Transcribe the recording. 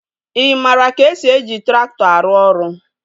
Ị maara ka esi eji traktọ arụ ọrụ?